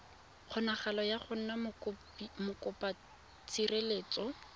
kgonagalo ya go nna mokopatshireletso